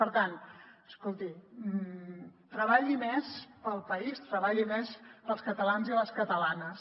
per tant escolti treballi més pel país treballi més pels catalans i les catalanes